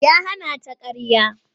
Ya hana ta ƙarya.